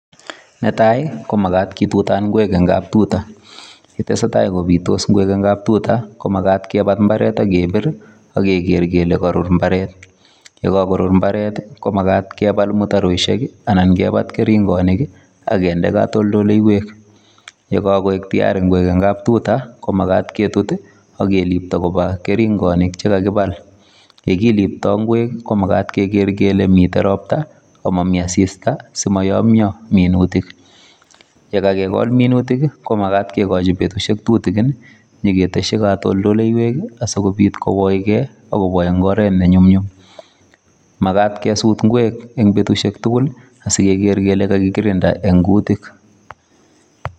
Netai ko magat itutan ingwek eng kaptuta. Yetesetai kopitos ingwek eng kaptuta, komagat kipat imbaret ak kepir ii ak keger kele karur imbaret. Ye kagorur imbaret ko magat kebal mutaroisiek ii anan kepat keringonik ak kende katoldoileiwek. Ye kagoek tiyari ngwek eng kaptuta komagat ketut ii agelipto koba keringonik che kagibal. Ye kilipta ingwek ii komagat keger kele mito ropta ago mami asista simayomya minutik. Ye kagegol minutik ii, komagat kegochi betusiek tutigin, inyegetesyi katoldoleiywek, asigopit kowoige ak kobwa eng oret ne nyumnyum. Magat kesut ingwek eng betusiek tugul ii asigeger kele kagikirinda eng kutik.